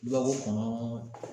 I b'a fɔ ko